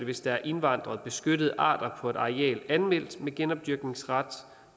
hvis der er indvandret beskyttede arter på et areal anmeldt med genopdyrkningsret